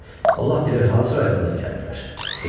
Allah bilir hansı rayondan gəliblər, dedi.